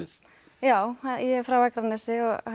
já ég er frá Akranesi